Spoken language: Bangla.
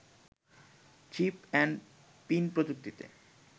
চিপ অ্যান্ড পিন প্রযুক্তিতে